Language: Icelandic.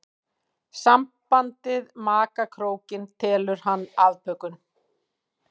Sambandið maka krókinn telur hann afbökun.